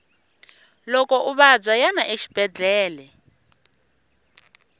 loko u vabya yana exibedele